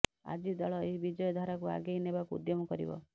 ଆଜି ଦଳ ଏହି ବିଜୟ ଧାରାକୁ ଆଗେଇ ନେବାକୁ ଉଦ୍ୟମ କରିବ